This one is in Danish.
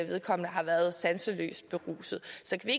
vedkommende har været sanseløst beruset så kan